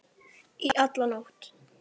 Í alla nótt.